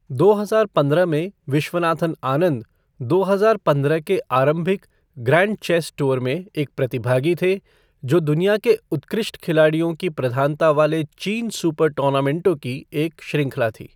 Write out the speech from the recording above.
दो हजार पंद्रह में, विश्वनाथन आनंद दो हजार पंद्रह के आरंभिक ग्रैंड चेस टूअर में एक प्रतिभागी थे, जो दुनिया के उत्कृष्ट खिलाड़ियों की प्रधानता वाले चीन सुपर टूर्नामेंटों की एक श्रृंखला थी।